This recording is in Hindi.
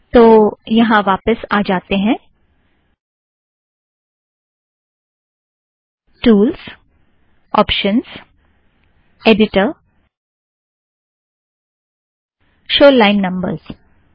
तो यहाँ वापस आ जातें हैं - tools options editor show line numbers tools options editor show line numbers